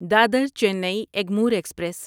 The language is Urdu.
دادر چینی ایگمور ایکسپریس